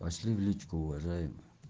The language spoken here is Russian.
пошли в личку уважаемый